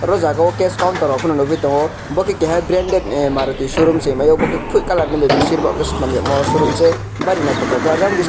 oro jago cash counter rog pono nugui tongo bo khe keha branded ni maruti showroom se higmao bo ke kuphui colour ni bai besir bo khe sinamyakmo showroom se bari naithotok khe ah jang biskango.